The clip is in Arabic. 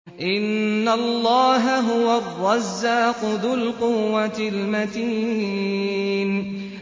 إِنَّ اللَّهَ هُوَ الرَّزَّاقُ ذُو الْقُوَّةِ الْمَتِينُ